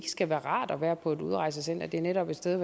skal være rart at være på et udrejsecenter det er netop et sted